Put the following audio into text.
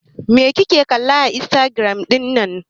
Me kike kalla a Instagram ɗin nan?